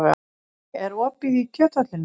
Nanný, er opið í Kjöthöllinni?